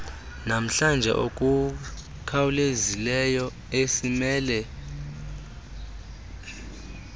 namhlanje okukhawulezileyo esimele